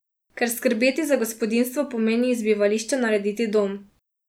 Ker skrbeti za gospodinjstvo pomeni iz bivališča narediti dom.